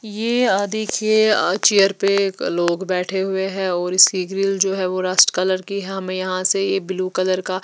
देखिए चेयर पे लोग बैठे हुए हैं और इसकी ग्रिल जो हैं वो रस्ट कलर की हैं हमें यहाँ से ये ब्लू कलर का --